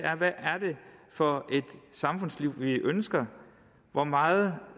for et samfundsliv vi ønsker hvor meget